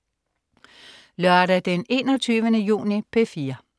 Lørdag den 21. juni - P4: